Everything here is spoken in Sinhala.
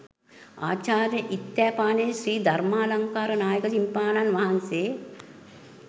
ආචාර්ය ඉත්තෑපානේ ශ්‍රී ධර්මාලංකාර නායක මාහිමිපාණන් වහන්සේ